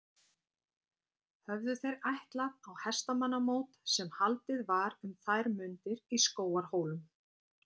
Höfðu þeir ætlað á hestamannamót sem haldið var um þær mundir í Skógarhólum.